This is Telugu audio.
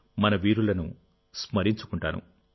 మన వీరులను స్మరించుకుంటాను